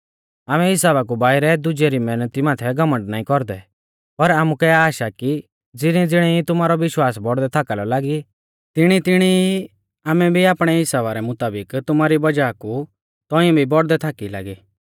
आमै हिसाबा कु बाइरै दुजै री मैहनती माथै घमण्ड नाईं कौरदै पर आमुकै आश आ कि ज़िणीज़िणी ई तुमारौ विश्वास बौड़दै थाका लौ लागी तिणीतिणी ई आमै भी आपणै हिसाबा रै मुताबिक तुमारी वज़ाह कु तौंइऐ भी बौड़दै थाकी लागी